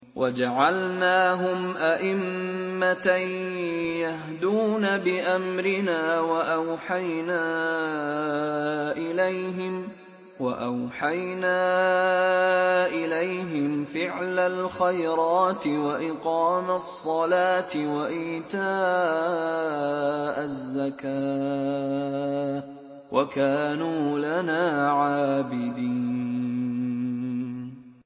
وَجَعَلْنَاهُمْ أَئِمَّةً يَهْدُونَ بِأَمْرِنَا وَأَوْحَيْنَا إِلَيْهِمْ فِعْلَ الْخَيْرَاتِ وَإِقَامَ الصَّلَاةِ وَإِيتَاءَ الزَّكَاةِ ۖ وَكَانُوا لَنَا عَابِدِينَ